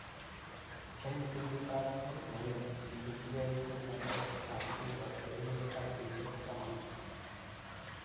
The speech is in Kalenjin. Eng kenyit ab 2000 kokipelchike konunotiot ab FIFA urerenindet ab kenyisiek taman.